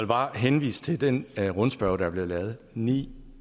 bare henvise til den rundspørge der er blevet lavet ni